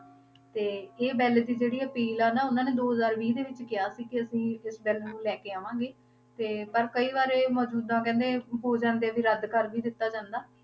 ਤੇ ਇਹ ਬਿੱਲ ਦੀ ਜਿਹੜੀ ਅਪੀਲ ਆ ਨਾ ਉਹਨਾਂ ਨੇ ਦੋ ਹਜ਼ਾਰ ਵੀਹ ਦੇ ਵਿੱਚ ਕਿਹਾ ਸੀ ਕਿ ਅਸੀਂ ਇਸ ਬਿੱਲ ਨੂੰ ਲੈ ਕੇ ਆਵਾਂਗੇ, ਤੇ ਪਰ ਕਈ ਵਾਰ ਇਹ ਮੌਜੂਦਾ ਕਹਿੰਦੇ ਹੋ ਜਾਂਦੇ ਵੀ ਰੱਦ ਕਰ ਵੀ ਦਿੱਤਾ ਜਾਂਦਾ।